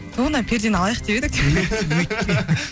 ту мына пердені алайық деп едік